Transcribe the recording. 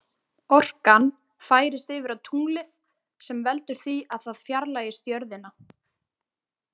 Orkan færist yfir á tunglið sem veldur því að það fjarlægist jörðina.